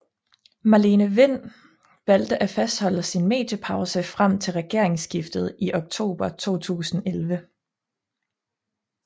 Marlene Wind valgte at fastholde sin mediepause frem til regeringsskiftet i oktober 2011